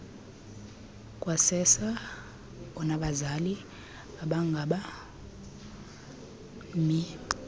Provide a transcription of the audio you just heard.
kwasersa onabazali abangabemi